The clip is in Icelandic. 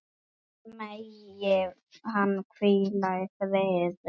Megi hann hvíla í friði.